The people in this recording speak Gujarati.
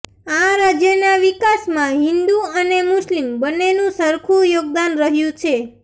આ રાજ્યના વિકાસમાં હિંદુ અને મુસ્લિમ બંનેનું સરખુ યોગદાન રહ્યું છે